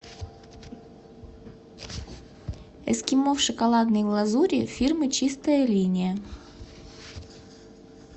эскимо в шоколадной глазури фирмы чистая линия